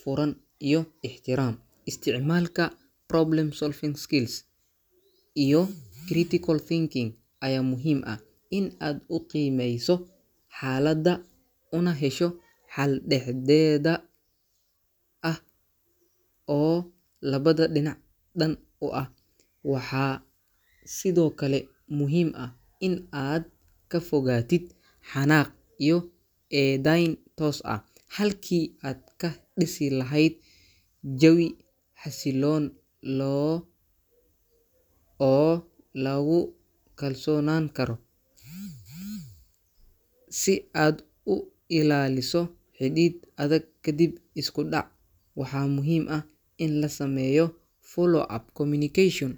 furan iyo ixtiraam. Isticmaalka problem-solving skills iyo critical thinking ayaa muhiim ah, si aad u qiimeyso xaalada una hesho xal dhexdeda ah oo labada dhinac dan u ah. Waxaa sidoo kale muhiim ah in aad ka fogaatid xanaaq iyo ee dayn toos ah, halkii aad ka dhisi lahayd jawi xasilloon loo oo lagu kalsoonaan karo. Si aad u ilaaliso xidhiidh adag kadib isku dhac, waxaa muhiim ah in la sameeyo follow-up communication.